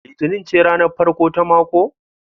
Litinin ce ranar farko ta mako?